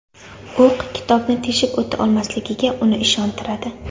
O‘q kitobni teshib o‘ta olmasligiga uni ishontiradi.